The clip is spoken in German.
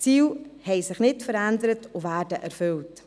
Die Ziele haben sich nicht verändert und werden erfüllt.